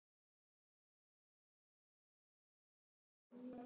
Dans ekki ósvipaðan þessum.